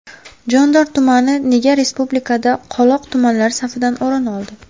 Jondor tumani nega respublikada ‘qoloq’ tumanlar safidan o‘rin oldi?